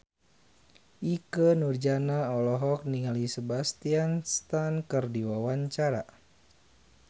Ikke Nurjanah olohok ningali Sebastian Stan keur diwawancara